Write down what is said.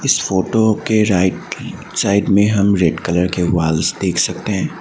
इस फोटो के right side में हम रेड कलर के वॉल्स देख सकते हैं।